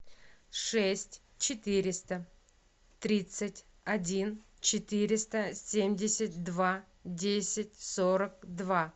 шесть четыреста тридцать один четыреста семьдесят два десять сорок два